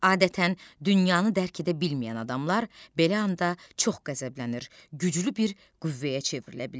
Adətən dünyanı dərk edə bilməyən adamlar belə anda çox qəzəblənir, güclü bir qüvvəyə çevrilə bilirlər.